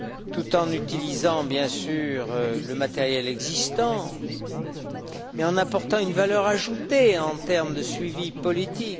tout en utilisant, bien sûr, le matériel existant et en apportant une valeur ajoutée en termes de suivi politique.